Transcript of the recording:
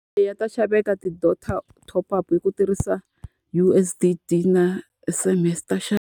Eya ta xaveka ti-data top up i ku tirhisa U_S_S_D na S_M_S. Ta xaveka.